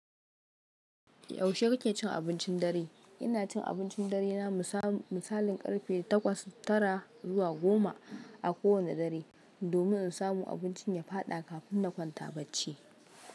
Yaushe kake cin abincin dare? Ina cin abincin dare na misalin karfe takwas tara zuwa goma a kowanne dare, domin in samu abincin ya faɗa kafin na kwanta bacci.